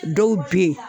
Dɔw be yen